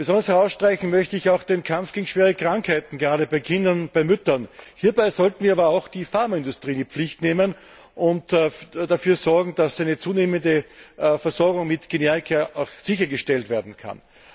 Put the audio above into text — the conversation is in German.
Besonders herausstreichen möchte ich auch den Kampf gegen schwere Krankheiten, gerade bei Kindern und Müttern. Hier sollten wir aber auch die Pharmaindustrie in die Pflicht nehmen und dafür sorgen, dass eine zunehmende Versorgung mit Generika sichergestellt werden kann.